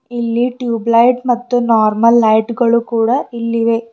ಇಲ್ಲಿ tube light ಮತ್ತು normal light ಗಳು ಕೂಡ ಇಲ್ಲಿವೆ.